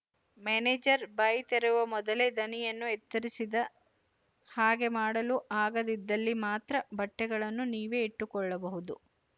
ಮೆನೇಜರ ಬಾಯಿ ತೆರೆಯುವ ಮೊದಲೇ ದನಿಯನ್ನು ಎತ್ತರಿಸಿದ ಹಾಗೆ ಮಾಡಲು ಆಗದಿದ್ದಲ್ಲಿ ಮಾತ್ರ ಬಟ್ಟೆಗಳನ್ನು ನೀವೇ ಇಟ್ಟುಕೊಳ್ಳಬಹುದು